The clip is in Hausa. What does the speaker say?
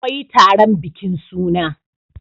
akwai taron bikin suna